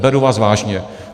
Beru vás vážně.